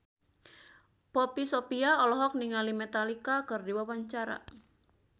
Poppy Sovia olohok ningali Metallica keur diwawancara